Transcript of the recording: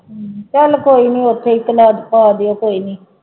ਹਮ ਚੱਲ ਕੋਈ ਨੀ ਉੱਥੇ ਹੀ ਚੱਲ ਪਾ ਦਿਓ ਕੋਈ ਨੀ